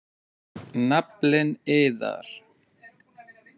Naflinn iðar.